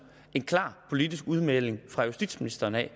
en klar politisk udmelding fra justitsministeren jeg